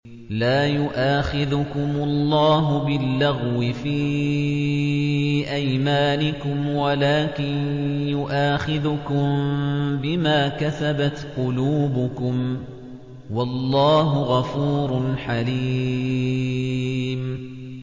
لَّا يُؤَاخِذُكُمُ اللَّهُ بِاللَّغْوِ فِي أَيْمَانِكُمْ وَلَٰكِن يُؤَاخِذُكُم بِمَا كَسَبَتْ قُلُوبُكُمْ ۗ وَاللَّهُ غَفُورٌ حَلِيمٌ